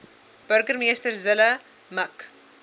burgemeester zille mik